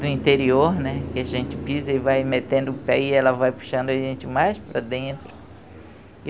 do interior né, que a gente pisa e vai metendo o pé e ela vai puxando a gente mais para dentro.